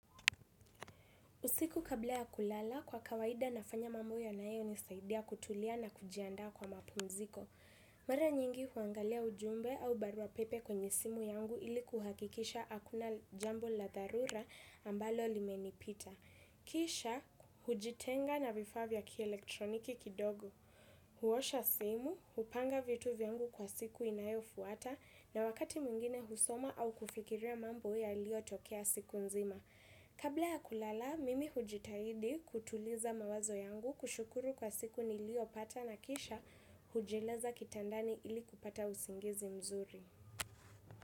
Usiku kabla ya kulala, kwa kawaida nafanya mambo ya nanayo nisaidia kutulia na kujiandaa kwa mapunziko. Mara nyingi huangalia ujumbe au barua pepe kwenye simu yangu ili kuhakikisha hakuna jambo la dhalura ambalo limenipita. Kisha, hujitenga na vifaa vya kielektroniki kidogo. Huosha simu, upanga vitu vyangu kwa siku inayo fuata, na wakati mwingine husoma au kufikiria mambo ya liyo tokea siku nzima. Kabla ya kulala, mimi hujitaidi kutuliza mawazo yangu kushukuru kwa siku nilio pata na kisha hujilaza kitandani ili kupata usingizi mzuri.